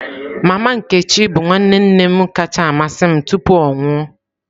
Mama nkechi bụ nwanne nne m kacha amasị m tupu ya anwụọ.